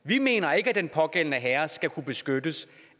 vi mener ikke at den pågældende herre skal kunne beskyttes